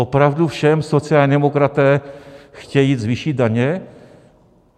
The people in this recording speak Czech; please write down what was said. Opravdu všem sociální demokraté chtějí zvýšit daně?